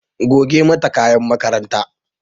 Goge mata kayan makarantar ta!